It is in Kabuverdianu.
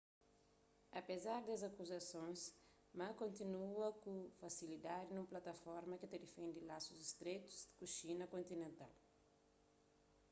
apezar des akuzasons ma ganha ku fasilidadi nun plataforma ki ta defende lasus stretu ku xina kontinental